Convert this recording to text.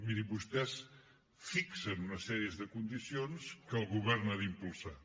miri vostès fixen una sèrie de condicions que el govern ha d’impulsar